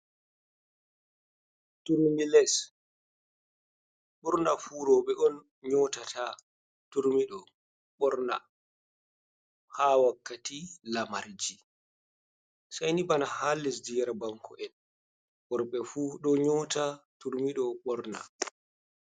Turmi les, ɓornafu roɓe on nyotata turmiɗo ɓorna, ha wakkati lamarji, sei ni bana ha lesdi yar banko'en worɓe fuu ɗo nyota turmi ɗo ɓorna.